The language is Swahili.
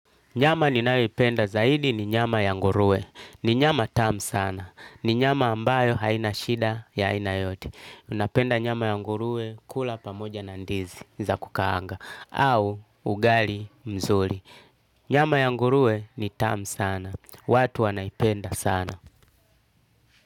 Nyama ninayoipenda zaidi ni nyama ya nguruwe. Ni nyama tamu sana. Ni nyama ambayo haina shida ya aina yote. Napenda nyama ya nguruwe kula pamoja na ndizi za kukaanga. Au ugali mzuri. Nyama ya ngurue ni tam sana. Watu wanaipenda sana.